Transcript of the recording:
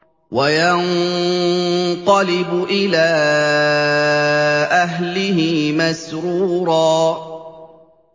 وَيَنقَلِبُ إِلَىٰ أَهْلِهِ مَسْرُورًا